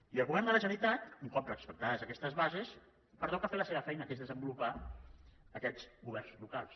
i al govern de la generalitat un cop respectades aquestes bases li pertoca fer la seva feina que és desenvolupar aquests governs locals